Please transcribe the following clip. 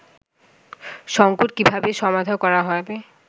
সঙ্কট কীভাবে সমাধা করা হবে